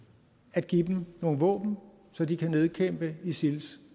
at give dem nogle våben så de kan nedkæmpe isils